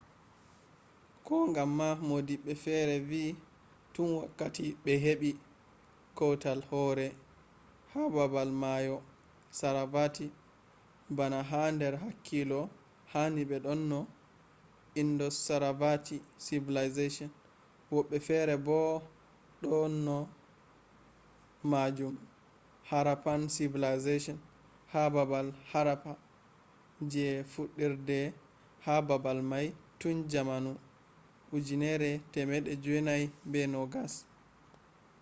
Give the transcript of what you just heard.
ko gam ma modibbe fere vi tun wakkati be hebi kwutal hore ha babal mayosaravati bana ha der hakkilo hani be dona indus-saravati civilization wobbe fere bo do dona majun harappan civilization ha babal harappa je fudder de ha babal mai tun jamanu 1920`s